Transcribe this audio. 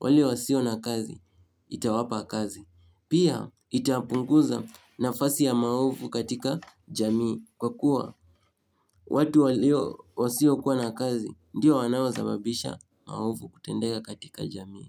wale wasio na kazi, itawapa kazi. Pia itapunguza nafasi ya maovu katika jamii kwa kuwa watu walio wasio kuwa na kazi ndio wanaosababisha maovu kutendeka katika jamii.